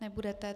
Nebudete.